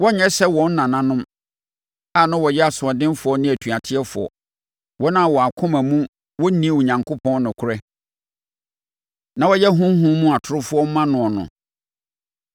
Wɔrenyɛ sɛ wɔn nananom, a na wɔyɛ asoɔdenfoɔ ne atuatefoɔ, wɔn a wɔn akoma mu wɔnni Onyankopɔn nokorɛ na woyɛ honhom mu atorofoɔ ma noɔ no.